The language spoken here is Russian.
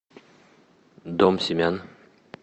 дом семян